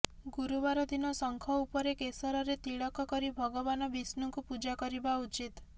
ଗୁରୁବାର ଦିନ ଶଙ୍ଖ ଉପରେ କେଶରରେ ତିଳକ କରି ଭଗବାନ ବିଷ୍ଣୁଙ୍କୁ ପୂଜା କରିବା ଉଚିତ୍